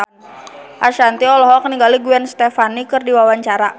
Ashanti olohok ningali Gwen Stefani keur diwawancara